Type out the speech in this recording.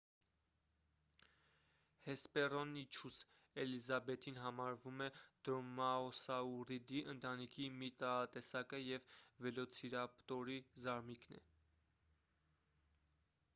հեսպեռոնիչուս էլիզաբեթին համարվում է դրոմաոսաուռիդի ընտանիքի մի տարատեսակը և վելոցիրապտորի զարմիկն է